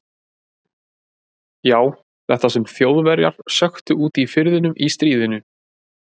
Já, þetta sem Þjóðverjar sökktu úti í firðinum í stríðinu.